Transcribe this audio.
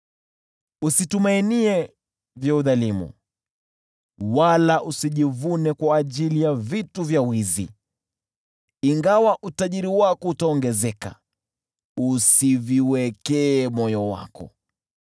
Usitumainie vya udhalimu wala usijivune kwa vitu vya wizi; ingawa utajiri wako utaongezeka, usiviwekee moyo wako.